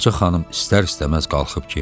Ağca xanım istər-istəməz qalxıb geyindi.